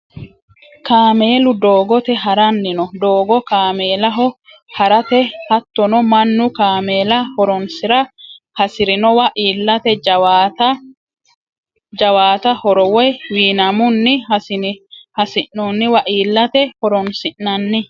Kaamelu doogote haranni no, doogo kaamellaho haratte hatono manu kaamella horonsira hasirinowa iillatte jaawata horo woyi wiinamunni hasinoniwa iillate horonsinanni